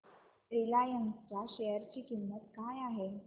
Reliance च्या share ची किंमत काय आहे